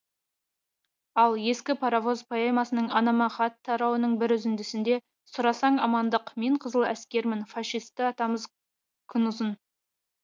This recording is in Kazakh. ал ескі паровоз поэмасының анама хат тарауының бір үзіндісінде сұрасаң амандық мен қызыл әскермін фашисті атамыз күн ұзын